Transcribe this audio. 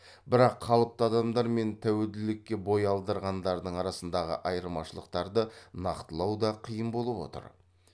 бірақ қалыпты адамдар мен тәуелділікке бой алдырғандардың арасындағы айырмашылықтарды нақтылау да қиын болып отыр